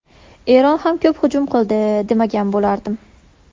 Eron ham ko‘p hujum qildi, demagan bo‘lardim.